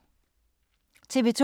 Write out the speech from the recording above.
TV 2